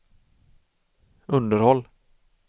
underhåll